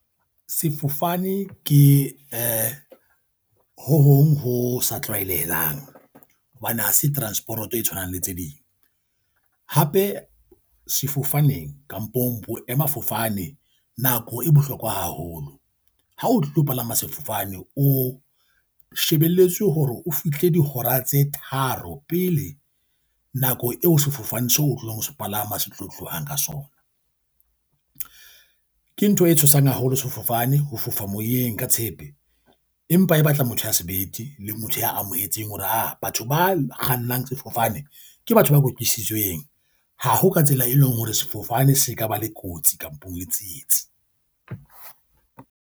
Sefofane ke eh ho hong ho sa tlwaelehang hobane ha se transport e tshwanang le tse ding. Hape sefofaneng kampong boemafofane nako e bohlokwa haholo. Ha o tlo palama sefofane o shebelletswe hore o fihle dihora tse tharo pele nako eo sefofane seo o tlong ho so palama se tlo tlohang ka sona. Ke ntho e tshosang haholo sefofane ho fofa moyeng ka tshepe, empa e batla motho ya sebete le motho ya amohetseng hore ha batho ba kgannang sefofane ke batho ba kwetlisitsweng. Ha ho ka tsela e leng hore sefofane se ka ba le kotsi kampong le tsietsi.